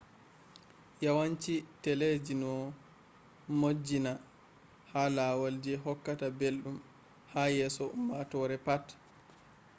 yawanci teleji no modjinna ha lawal je hokkata ɓelɗum ha yeso ummatore pat